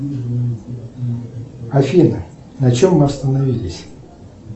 афина на чем мы остановились